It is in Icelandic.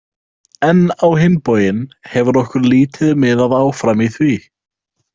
En á hinn bóginn hefur okkur lítið miðað áfram í því.